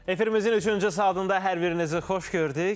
Efərimizin üçüncü saatında hər birinizi xoş gördük.